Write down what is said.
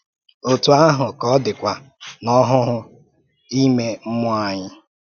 Ótú àhụ́ ka ọ dị̀kwa n’ọ́hụ́hụ̀ ímé mmụọ́ anyị